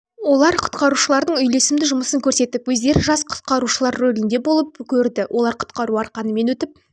олар құтқарушылардың үйлесімді жұмысын көрсетіп өздері жас құтқарушылар ролінде болып көрді олар құтқару арқанымен өтіп